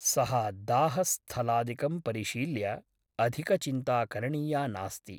सः दाह स्थलादिकं परिशील्य अधिकचिन्ता करणीया नास्ति ।